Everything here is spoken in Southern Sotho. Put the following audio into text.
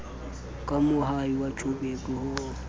ka moahi wa joburg ho